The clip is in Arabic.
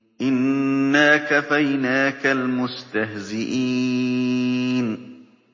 إِنَّا كَفَيْنَاكَ الْمُسْتَهْزِئِينَ